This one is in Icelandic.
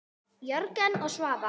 Jörgen og Svava.